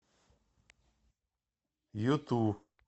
юту